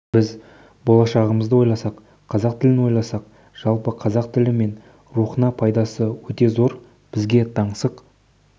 біз болашағымызды ойласақ қазақ тілін ойласақ жалпы қазақ тілі мен рухына пайдасы өте зор бізге таңсық